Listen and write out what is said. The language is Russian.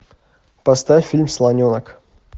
поставь фильм слоненок